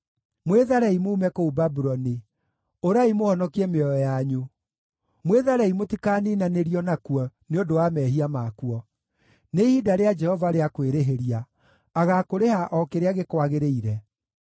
“Mwĩtharei muume kũu Babuloni! Ũrai mũhonokie mĩoyo yanyu! Mwĩtharei mũtikaniinanĩrio nakuo nĩ ũndũ wa mehia makuo. Nĩ ihinda rĩa Jehova rĩa kwĩrĩhĩria; agaakũrĩha o kĩrĩa gĩkwagĩrĩire.